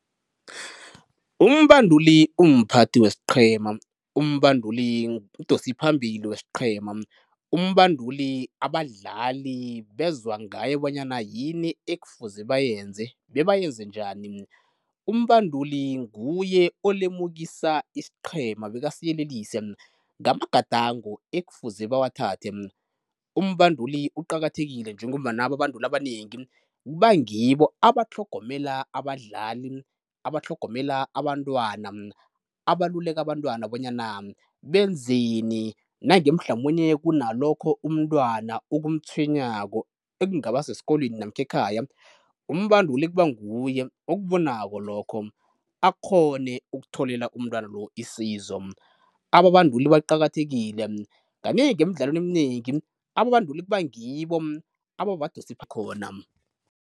Umbamduli umphathi wesiqhema, umbanduli mdosiphambili wesiqhema, umbanduli abadlali bezwa ngaye bonyana yini ekufuze bayenze bebayenze njani. Umbanduli nguye olemukisa isiqhema bekasiyelelise ngamagadango ekufuze bawathathe. Umbanduli uqakathekile njengombana ababanduli abanengi kuba ngibo abatlhogomela abadlali, abatlhogomela abantwana, abaluleka abantwana bonyana benzeni nange mhlamunye kunalokho umntwana okumtshwenyako ekungaba sesikolweni namkha ekhaya, umbanduli kuba nguye okubonako lokho, akghone ukutholela umntwana lo isizo. Ababanduli baqakathekile, kanengi emidlalweni eminengi ababanduli kuba ngibo ababadosipha khona.